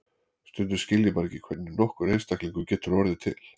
Stundum skil ég bara ekki hvernig nokkur einstaklingur getur orðið til.